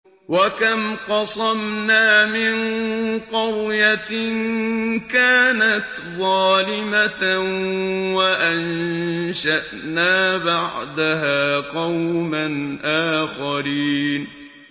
وَكَمْ قَصَمْنَا مِن قَرْيَةٍ كَانَتْ ظَالِمَةً وَأَنشَأْنَا بَعْدَهَا قَوْمًا آخَرِينَ